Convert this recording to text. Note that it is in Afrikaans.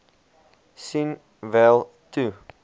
sien wel toe